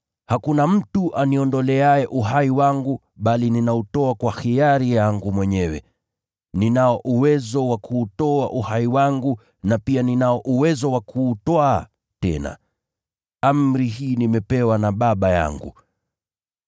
Hakuna mtu aniondoleaye uhai wangu, bali ninautoa kwa hiari yangu mwenyewe. Ninao uwezo wa kuutoa uhai wangu na pia ninao uwezo wa kuutwaa tena. Amri hii nimepewa na Baba yangu.”